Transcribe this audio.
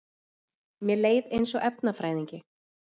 Mér leið eins og efnafræðingi